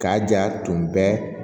K'a ja tun bɛ